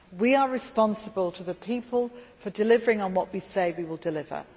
We are responsible to the people for delivering what we say we will deliver